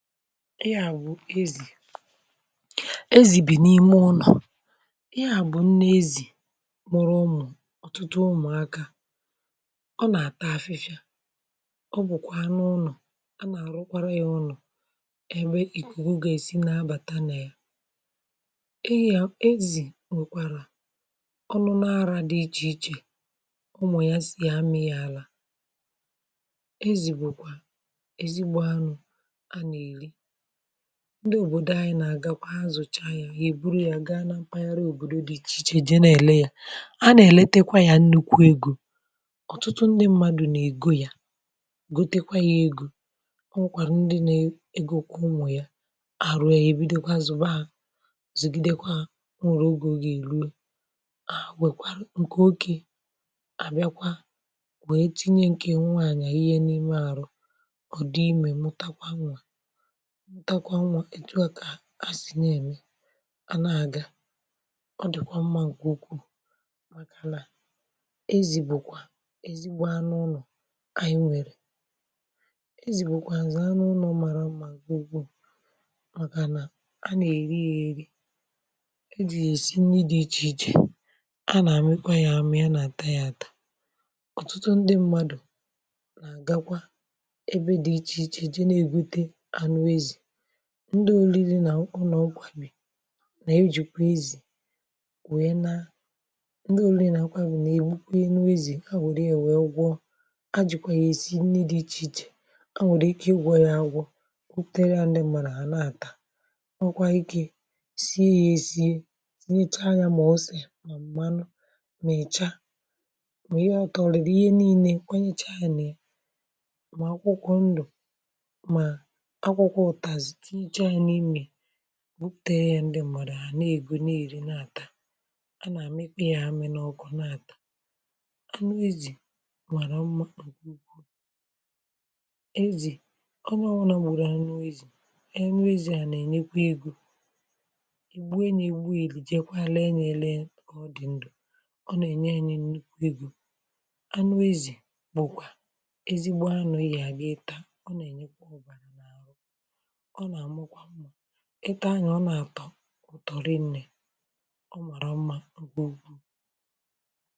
ihe à bụ ezì, ezì bì n’ime ụnọ̀, ịhe à bụ nne ezì mụrụ ụmụ̀ ọtụtụ ụmụ̀akȧ, ọ nà-ata afịfịa ọ bụ̀kwà n’ụnọ̀ a nà-arụkwarọ yȧ ụnọ̀ ebe ìkùkù gà-esi na-abàta ya ezì nwèkwàrà ọnụ n'ara dị ichè ichè ụmụ̀ yà si àmịya arà, ezì bụ̀kwà ezigbo anu ana eli ndị òbòdò anyị na-àgakwa azụ̀cha ya èburu ya gaa na mpaghara òbòdo dị ichè ichè je na-èle ya a na-eletekwa ya nnukwu egȯ ọ̀tụtụ ndị mmadụ̀ nà-ègo ya gotekwa ya egȯ, o nwèkwàrà ndị na-egȯ kwa ụmụ̀ ya àrụ ya èbidokwa zụ̀ba ha zùgìdekwa ha o nwèrè ogė o gà-èru a wèkwara ǹkè okė àbịakwa wee tinye ǹkè nwaanyị̀ àihe n’ime àrụ ụ̀dị imė mụtakwa nwà ntakwa nwa, etu à kà a si na-emè a na-agà ọ dịkwà mma nke ukwuu màkànà ezi bùkwà ezigbo anụ ụlọ̀ anyị nwere ezì bùkwàzi anụ ụlọ̀ mara mma nke ukwu màkà nà a na-eri ya eri ị dị yà isi ndị dị iche ichè a na-amịkwa yà amị ya na-ata yà atà ọtụtụ ndị mmadụ̀ gakwa ebe dị iche ichè jee n'ebute anu ezi ndị òriri nà nku nà ọgwà bì nà ejìkwà ezì wèe na ndị òlì na akwụkwọ ezì agwọ̀rị èwėgwọ agzìkwà yà èsi nni dị̇ ichè ichè agwọ̀rị ike igwọ̇ ya agwọ̇ buputere ndị mà nà àna-àta ọkwa ikė sie yȧ èsie tinyecha yȧ mà ọse mà m̀manụ mà ècha mà ihe ọ̇ tọlị̀rị̀ ihe nii̇nė kwanyịcha yȧ mà àkwụkwọ ndụ̀ mà àkwụkwọ utazi tinyechaa ya n'ime ya buputere ya ndị mmadụ̀ ana-egwu na-eri na-atà a na-amịkwa yà amị̀ n’ọkụ na-atà anụ ezì mara mma nke ukwu ezì onye ọbụlà gburu anụ ezì anu ezì a na-enyekwà egȯ egbue ya egbu jekwàla e na-ele ọ dị ndụ̀ ọ na-enye anyị̀ nnukwu egȯ anụ ezì bụ̀kwà ezigbo anụ̀ i ga bu itaa ọ na-enyekwà obàrà o n'abukwa i taa ya o naa ato ụtọ rị nne ọ mara mma nkė ukwu.